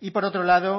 y por otro lado